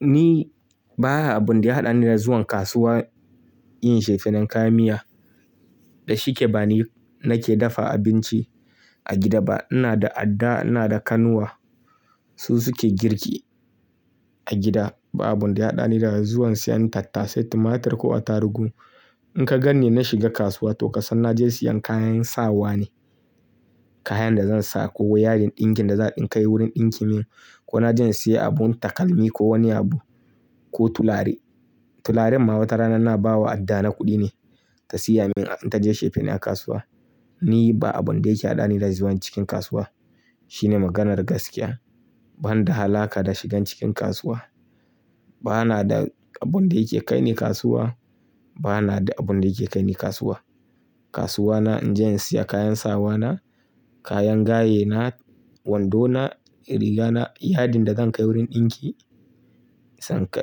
Ni ba abun da ya haɗani da zuwan kasuwa, yin shefinan kayan miya. Da shike ba ni nake dafa abinci a gida ba. Ina da adda, ina da kanwa su suke girki a gida. Ba abun da ya haɗani da zuwan siyan tattasai, tumatir ko attarugu. In ka ganni na shiga kasuwa, to ka san na je siyan kayan sawa ne. Kaya da zan sa ko yadin ɗinkin da za a ɗinka wurin ɗinki min ko na je insiya abun takalmi ko wani abu ko tulare. Tularen ma watarana na ba wa adda na kuɗi ne ta siya min in ta je chefene a kasuwa. Ni ba abun da yake haɗani da zuwan cikin kasuwa. Shine maganar gaskiya. Ban da halaka da shigan cikin kasuwa. Bana da abun da yake kaini kasuwa. Bana da abun da yake kaini kasuwa. Kasuwa na in je in siya kayan sawa na, kayan gaye na, wando na, riga na, yadin da zan kai wurin ɗinki